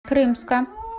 крымска